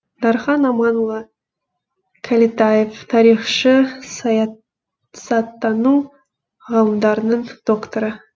дархан аманұлы кәлетаев тарихшы саясаттану ғылымдарының докторы